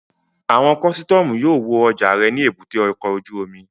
Àwọn kọ́sítọ́mù yóò wo ọjà rẹ ní èbúté ọkọ̀ ojú omi